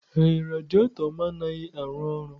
Ee, radiator m anaghị arụ ọrụ.